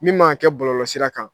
Min man kan ka kɛ bɔlɔlɔ sira kan